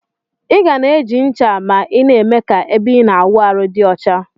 Iga na eji ncha ma ina eme ka ebe ina awụ arụ di ọcha.